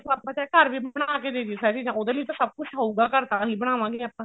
ਆਪਾਂ ਚਾਹੇ ਘਰ ਵੀ ਬਣਾ ਕੇ ਦੇ ਦਾਈਏ ਉਹਦੇ ਲਈ ਵੀ ਸਭ ਕੁੱਝ ਹੋਊਗਾ ਘਰ ਤਾਂਹੀ ਬਣਾਵਾਂ ਗੇ ਆਪਾਂ